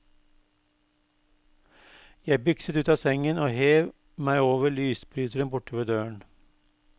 Jeg bykset ut av sengen og hev meg over lysbryteren borte ved døren.